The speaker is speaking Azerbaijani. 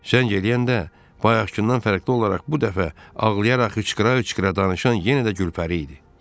Zəng gələndə bayaqkından fərqli olaraq bu dəfə ağlayaraq hıçqıra-hıçqıra danışan yenə də Gülpəri idi.